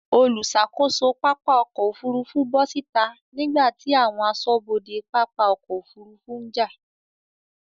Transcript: Olùṣàkóso pápá ọkọ̀ Òfurufú bọ́ síta nígbàtí àwọn aṣọ́bodè pápá ọkọ̀ Òfurufú ń jà.